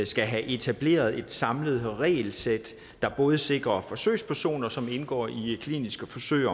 skal have etableret et samlet regelsæt der både sikrer forsøgspersoner som indgår i kliniske forsøg